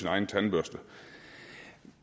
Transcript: egen tandbørste